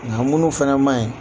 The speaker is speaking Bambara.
Ŋa munu fɛnɛ maɲi